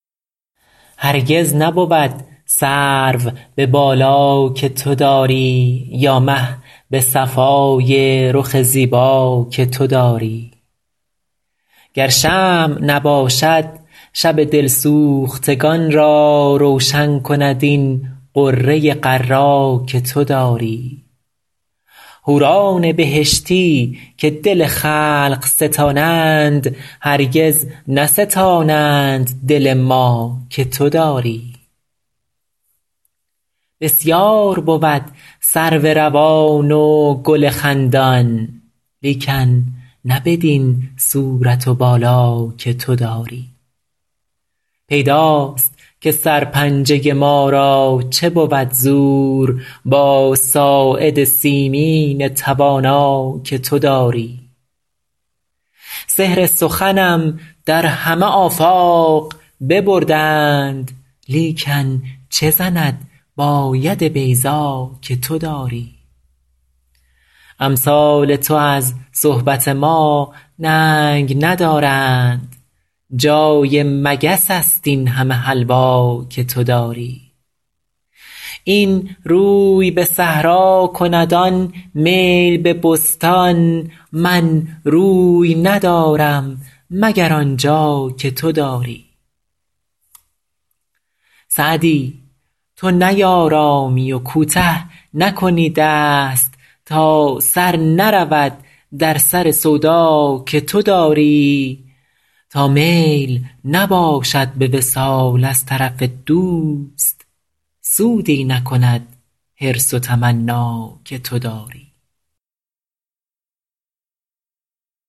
هرگز نبود سرو به بالا که تو داری یا مه به صفای رخ زیبا که تو داری گر شمع نباشد شب دل سوختگان را روشن کند این غره غر‍ ا که تو داری حوران بهشتی که دل خلق ستانند هرگز نستانند دل ما که تو داری بسیار بود سرو روان و گل خندان لیکن نه بدین صورت و بالا که تو داری پیداست که سرپنجه ما را چه بود زور با ساعد سیمین توانا که تو داری سحر سخنم در همه آفاق ببردند لیکن چه زند با ید بیضا که تو داری امثال تو از صحبت ما ننگ ندارند جای مگس است این همه حلوا که تو داری این روی به صحرا کند آن میل به بستان من روی ندارم مگر آن جا که تو داری سعدی تو نیآرامی و کوته نکنی دست تا سر نرود در سر سودا که تو داری تا میل نباشد به وصال از طرف دوست سودی نکند حرص و تمنا که تو داری